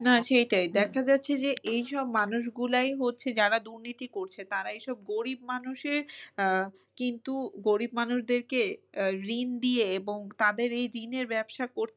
না সেইটাই দেখা যাচ্ছে যে এই সব মানুষ গুলোই হচ্ছে যারা দুর্নীতি করছে তারা এই সব গরিব মানুষের আহ কিন্তু গরিব মানুষদেরকে আহ ঋণ দিয়ে এবং তাদের এই ঋণের ব্যবসা করতে